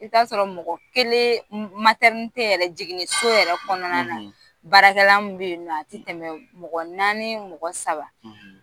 I t'a sɔrɔ mɔgɔ kelen matɛren tɛ yɛrɛ jigin so yɛrɛ kɔnɔna na baarakɛ bɛ yen tɛmɛ mɔgɔ naani mɔgɔ saba